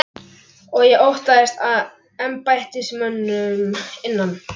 Og ég óttaðist að embættismönnum innan